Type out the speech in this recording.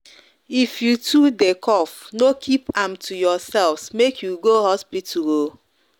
if you too de cough no keep am to yourself make you go hospital o